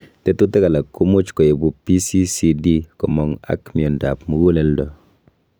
Tekutik alak komuch koibu PCCD komong' ak miondap muguleldo.